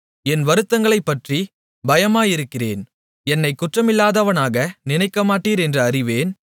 என் வருத்தங்களைப்பற்றிப் பயமாயிருக்கிறேன் என்னைக் குற்றமில்லாதவனாக நினைக்கமாட்டீர் என்று அறிவேன்